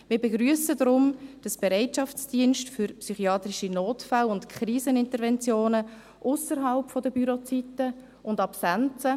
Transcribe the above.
Wir begrüssen deswegen den Bereitschaftsdienst für psychiatrische Notfälle und Kriseninterventionen ausserhalb der Bürozeiten und Absenzen.